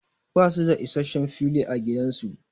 Ba su da issashen fili a gidan su.